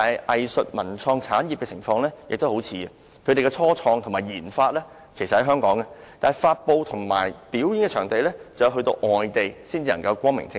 藝術文創產業的情況與此十分相似，其"初創及研發"設於香港，但發布和展演卻要到外地才能光明正大。